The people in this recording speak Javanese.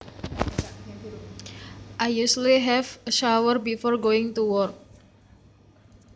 I usually have a shower before going to work